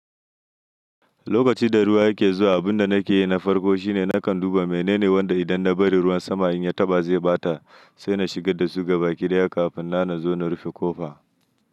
Lokacin da ruwa ke zuwa, abin da nake yi na farko shine nakan duba menene wanda idan na bari ruwan sama in ya taɓa zai ɓata, sai na shigar da su gaba kiraya kafin na na zo na rufe ƙofa.